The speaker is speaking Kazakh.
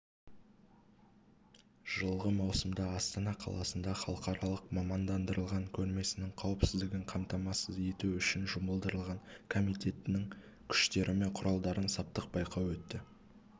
жылғы маусымда астана қаласында халықаралық мамандандырылған көрмесінің қауіпсіздігін қамтамасыз ету үшін жұмылдырылған комитетінің күштері мен құралдарын саптық байқау өтті